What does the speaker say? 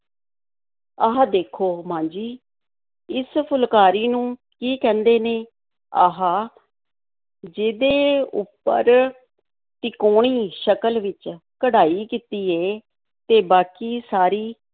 ਆਹ ਦੇਖੋ ਮਾਂ ਜੀ, ਇਸ ਫੁਲਕਾਰੀ ਨੂੰ ਕੀ ਕਹਿੰਦੇ ਨੇ? ਆਹ ਜਿਹਦੇ ਉੱਪਰ ਤਿਕੋਣੀ ਸ਼ਕਲ ਵਿੱਚ ਕਢਾਈ ਕੀਤੀ ਏ ਤੇ ਬਾਕੀ ਸਾਰੀ